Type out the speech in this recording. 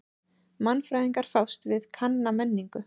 Mannfræðingar fást við kanna menningu.